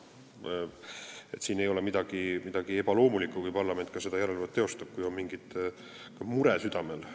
Ei ole midagi ebaloomulikku, kui parlament seda järelevalvet teeb, kui on mingi mure südamel.